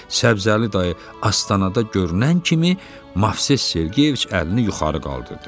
Səbzəli dayı astanada görünən kimi Movses Sergeyeviç əlini yuxarı qaldırdı.